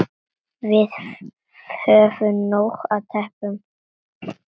Við höfum nóg af teppum.